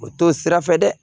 O to sira fɛ dɛ